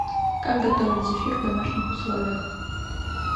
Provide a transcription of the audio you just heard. как готовить зефир в домашних условиях